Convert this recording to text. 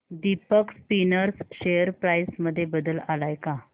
Deepak spinners share price मध्ये बदल आलाय का